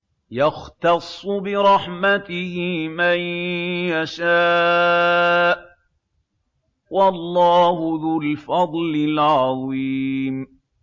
يَخْتَصُّ بِرَحْمَتِهِ مَن يَشَاءُ ۗ وَاللَّهُ ذُو الْفَضْلِ الْعَظِيمِ